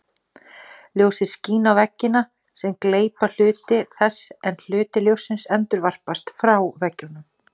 Ljósið skín á veggina sem gleypa hluta þess en hluti ljóssins endurvarpast frá veggjunum.